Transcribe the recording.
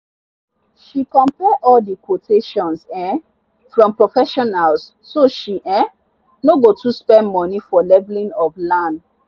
she compare all the quotations um from professionals so she um no go too spend money for leveling of land.